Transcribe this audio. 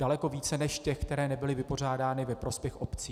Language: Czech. Daleko více než těch, které nebyly vypořádány ve prospěch obcí.